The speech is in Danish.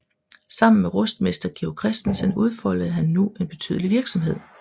Sammen med rustmester Georg Christensen udfoldede han nu en betydelig virksomhed